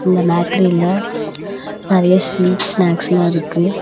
இந்த பேக்ரில நெறைய ஸ்வீட்ஸ் ஸ்நாக்ஸ்லாம் இருக்கு.